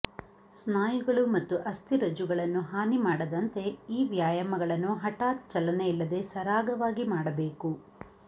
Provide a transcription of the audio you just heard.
ಸ್ನಾಯುಗಳು ಮತ್ತು ಅಸ್ಥಿರಜ್ಜುಗಳನ್ನು ಹಾನಿ ಮಾಡದಂತೆ ಈ ವ್ಯಾಯಾಮಗಳನ್ನು ಹಠಾತ್ ಚಲನೆಯಿಲ್ಲದೆ ಸರಾಗವಾಗಿ ಮಾಡಬೇಕು